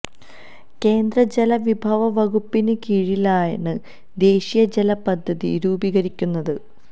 കേന്ദ്ര ജല വിഭവ വകുപ്പിന് കീഴിലാണ് ദേശീയ ജല പദ്ധതി രൂപീകരിക്കുന്നത്